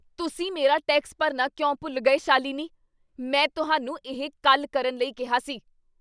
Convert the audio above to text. ਤੁਸੀਂ ਮੇਰਾ ਟੈਕਸ ਭਰਨਾ ਕਿਉਂ ਭੁੱਲ ਗਏ, ਸ਼ਾਲਿਨੀ? ਮੈਂ ਤੁਹਾਨੂੰ ਇਹ ਕੱਲ੍ਹ ਕਰਨ ਲਈ ਕਿਹਾ ਸੀ।